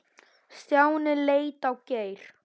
Stjáni leit á Geir.